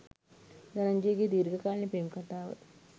ධනංජයගේ දීර්ඝකාලීන පෙම් කතාව